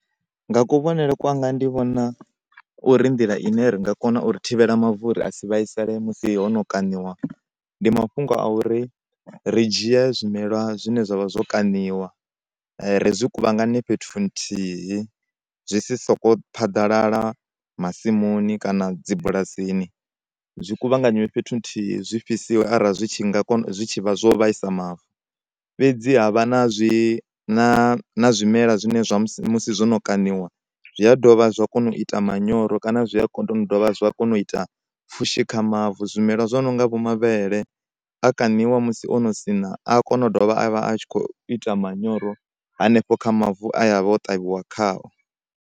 Nga kuvhonele kwanga ndi vhona uri ndiḽa ine ri nga kona uri thivhela mavu uri asi vhaisale musi hono kaṋiwa ndi mafhungo a uri ri dzhie zwimela zwine zwa vha zwo kaṋiwa ri zwi kuvhangane zwisi soko phaḓalala masimuni kana dzibulasini, zwi kuvhanganywe fhethu nthihi zwi fhisiwe arali zwi tshi nga kona zwi tshi vha zwo vhaisa mavu. Fhedzi ha vha na zwi na na zwimela zwine zwa musi musi zwono kaṋiwa zwia dovha zwa kona u ita manyoro kana zwia zwa kona u ita pfhushi kha mavu zwimelwa zwo nonga vho mavhele a kaṋiwa musi ono siṋa a kona u dovha avha a tshi kho ita manyoro hanefho kha mavu e avha o ṱavhiwa khao.